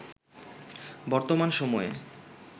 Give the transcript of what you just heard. বর্তমান সময়ে